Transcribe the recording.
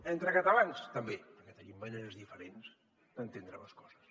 entre catalans també perquè tenim maneres diferents d’entendre les coses